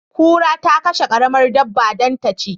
Kura ta kashe karamar dabba dan ta ci